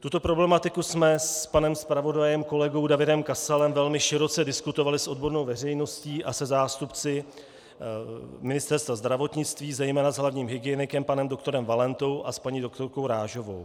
Tuto problematiku jsme s panem zpravodajem kolegou Davidem Kasalem velmi široce diskutovali s odbornou veřejností a se zástupci Ministerstva zdravotnictví, zejména s hlavním hygienikem panem doktorem Valentou a s paní doktorkou Rážovou.